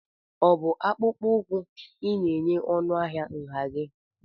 ọ bụ akpụkpọ ụkwụ ị na-enye ọnụ ahịa nha gị?